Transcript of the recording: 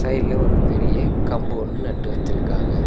சைடுல ஒரு பெரிய கம்பு ஒன்னு நட்டு வச்சிருக்காங்க.